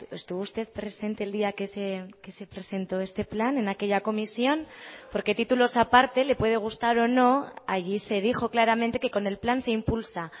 estuvo usted presente el día que se presentó este plan en aquella comisión porque títulos aparte le puede gustar o no allí se dijo claramente que con el plan se impulsa